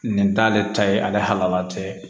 Nin t'ale ta ye ale halala tɛ